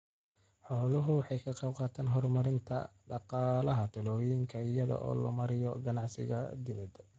Xooluhu waxay ka qaybqaataan horumarinta dhaqaalaha tuulooyinka iyada oo loo marayo ganacsiga dibadda.